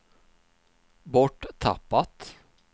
borttappat